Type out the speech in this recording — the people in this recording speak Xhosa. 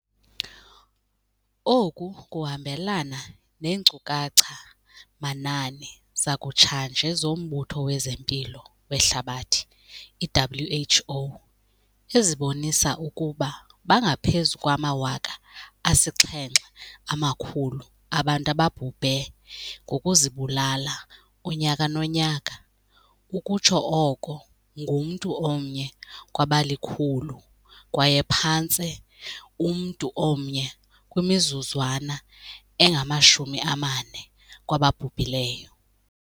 Oku kuhambelana neenkcukacha-manani zakutshanje zoMbutho wezeMpilo weHlabathi, i-WHO, ezibonisa ukuba bangaphezu kwama-700 000 abantu ababhubhe ngokuzibulala unyaka nonyaka - ukutsho oko ngumntu omnye kwabali-100 kwaye phantse umntu omnye kwimizuzwana engama-40 kwababhubhileyo.